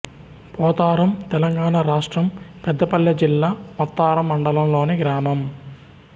పోతారం తెలంగాణ రాష్ట్రం పెద్దపల్లి జిల్లా ముత్తారం మండలంలోని గ్రామం